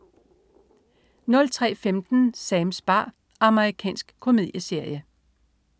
03.15 Sams bar. Amerikansk komedieserie